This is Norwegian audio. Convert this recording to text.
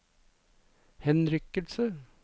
henrykkelse